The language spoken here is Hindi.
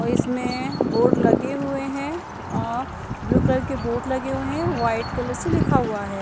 और इसमें बोर्ड लगे हुए है औ ब्लू कलर के बोर्ड लगे हुए है वाइट कलर से लिखा हुआ है।